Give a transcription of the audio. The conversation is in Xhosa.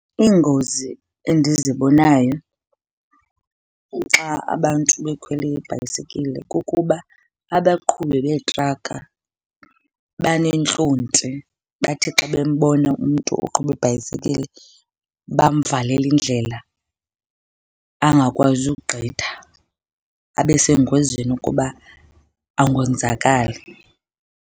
Iingozi endizibonayo xa abantu bekhwele iibhayisekile kukuba abaqhubi beetraka banentlonti. Bathi xa bembona umntu oqhuba ibhayisekile bamvalele indlela angakwazi ukugqitha abe sengozini ukuba angonzakala.